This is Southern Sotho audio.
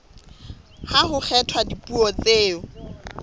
ha ho kgethwa dipuo tseo